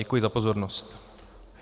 Děkuji za pozornost.